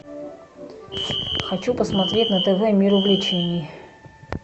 хочу посмотреть на тв мир увлечений